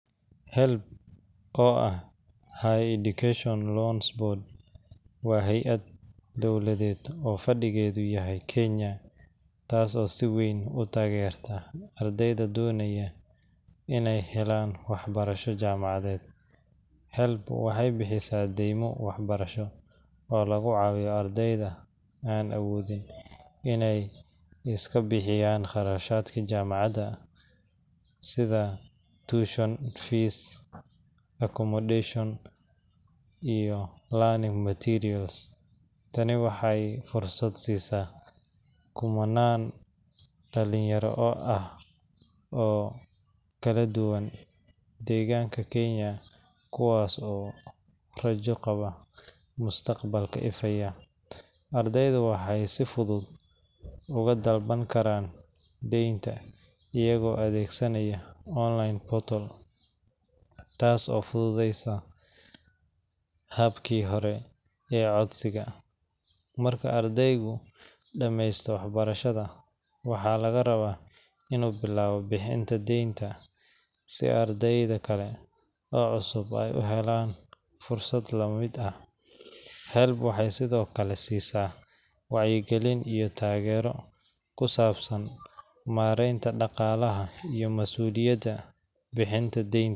HELB, oo ah Higher Education Loans Board, waa hay’ad dowladeed oo fadhigeedu yahay Kenya taas oo si weyn u taageerta ardayda doonaya inay helaan waxbarasho jaamacadeed. HELB waxay bixisaa deymo waxbarasho oo lagu caawiyo ardayda aan awoodin inay iska bixiyaan kharashaadka jaamacadda sida tuition fees, accommodation, iyo learning materials. Tani waxay fursad siisaa kumannaan dhalinyaro ah oo kale duwan deegaanka Kenya kuwaas oo rajo ka qaba mustaqbal ifaya. Ardaydu waxay si fudud uga dalban karaan deynta iyagoo adeegsanaya online portal, taas oo fududeysay habkii hore ee codsiga. Marka ardaygu dhammeeyo waxbarashada, waxaa laga rabaa inuu bilaabo bixinta deynta si ardayda kale oo cusub ay u helaan fursad la mid ah. HELB waxay sidoo kale siisaa wacyigelin iyo taageero ku saabsan maaraynta dhaqaalaha iyo mas’uuliyadda bixinta deynta.